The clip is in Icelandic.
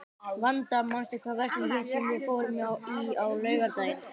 Vanda, manstu hvað verslunin hét sem við fórum í á laugardaginn?